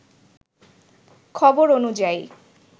খবর অনুযায়ী